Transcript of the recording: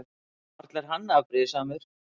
Varla er hann afbrýðisamur?